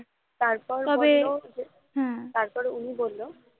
তারপর বললো হ্যাঁ তার পর উনি বলেন